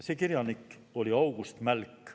See kirjanik oli August Mälk.